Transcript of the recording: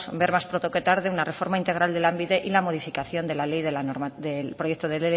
ver más pronto que tarde una reforma integral de lanbide y la modificación del proyecto de